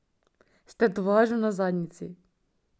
S tetovažo na zadnjici.